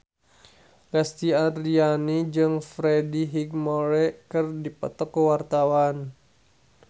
Lesti Andryani jeung Freddie Highmore keur dipoto ku wartawan